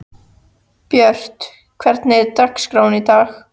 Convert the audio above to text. Björt, hvernig er dagskráin í dag?